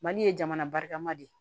Mali ye jamana barika ma de